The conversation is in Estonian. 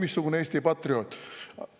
Oi, missugune Eesti patrioot!